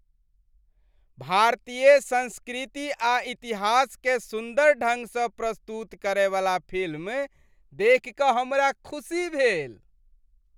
भारतीय संस्कृति आ इतिहासकेँ सुन्दर ढंग सँ प्रस्तुत करयवला फिल्म देखि कऽ हमरा खुशी भेल।